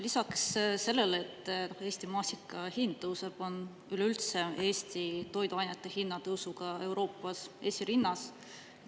Lisaks sellele, et Eesti maasika hind tõuseb, on üleüldse Eesti toiduainete hinnatõusuga Euroopas esirinnas.